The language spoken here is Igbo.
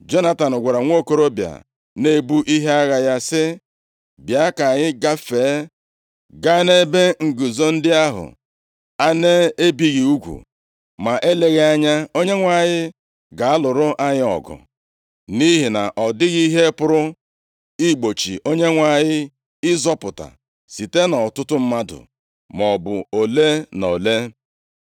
Jonatan gwara nwokorobịa na-ebu ihe agha ya sị, “Bịa, ka anyị gafee ga nʼebe nguzo ndị ahụ a na-ebighị ugwu, ma eleghị anya Onyenwe anyị ga-alụrụ anyị ọgụ. Nʼihi na ọ dịghị ihe pụrụ igbochi Onyenwe anyị ịzọpụta, site nʼọtụtụ mmadụ, maọbụ ole na ole.”